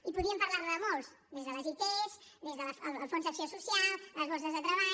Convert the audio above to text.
i podríem parlar ne de molts des de les it des del fons d’acció social les borses de treball